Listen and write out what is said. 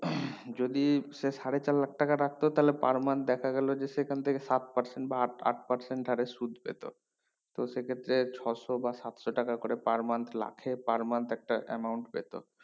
যদি সে সাড়ে চার লাখ টাকা রাখতো তাহেল per month দেখা গেলো যে সেখান থেকে সাত percent বা আট আট percent হরে সুদ পেতো তো সে ক্ষেত্রে ছশো বা সাতশো টাকা করে per month লাখে per month একটা amount পেতো